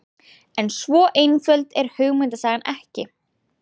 En svo einföld er hugmyndasagan ekki.